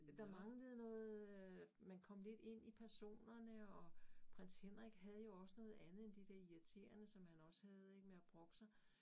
Der manglede noget øh man kom lidt ind i personerne og Prins Henrik havde jo også noget andet end det der irriterende som han også havde ik med at brokke sig